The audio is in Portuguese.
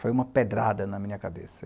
Foi uma pedrada na minha cabeça.